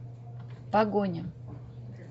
погоня